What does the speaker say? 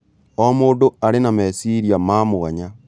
O mũndũ arĩ na meciria ma mwanya.